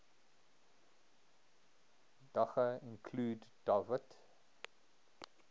daga include dawit